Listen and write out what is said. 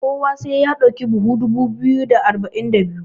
kowa sai ya dauki buhu dubu biyu da arba'in da biyu?